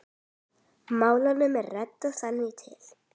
Málunum er reddað þangað til.